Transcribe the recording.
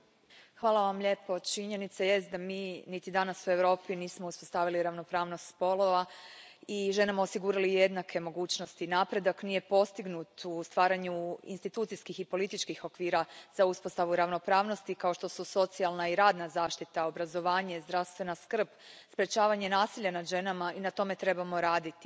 Poštovani predsjedavajući, činjenica jest da mi niti danas, u Europi, nismo uspostavili ravnopravnost spolova i ženama osigurali jednake mogućnosti. Napredak nije postignut u stvaranju institucijskih i političkih okvira za uspostavu ravnopravnosti kao što su socijalna i radna zaštita, obrazovanje, zdravstvena skrb, sprečavanje nasilja nad ženama i na tome trebamo raditi.